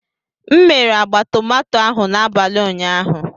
M mere agba tomato ahụ n'abalị ụnyaahụ.